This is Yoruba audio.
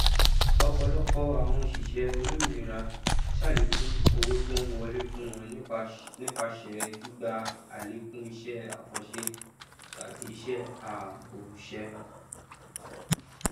ọpọlọpọ àwon òṣìṣẹ olómìnira sàlékún owó tó ń wọlé fún wọn nípasẹ gbígba àlékún isẹ àkànṣe tàbí iṣẹ ààbọọṣẹ